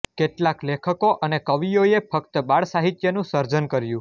કેટલાક લેખકો અને કવિઓએ ફક્ત બાળસાહિત્યનું સર્જન કર્યું